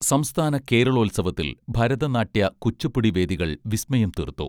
സംസ്ഥാന കേരളോത്സവത്തിൽ ഭരതനാട്യ കുച്ചുപ്പുടി വേദികൾ വിസ്മയം തീർത്തു